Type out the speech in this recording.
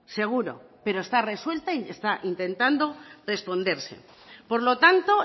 seguro pero está resuelta y está intentando responderse por lo tanto